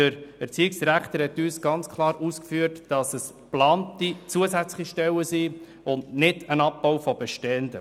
Der Erziehungsdirektor hat klar ausgeführt, dass es sich dabei um geplante, zusätzliche Stellen handelt und nicht um einen Abbau bestehender Stellen.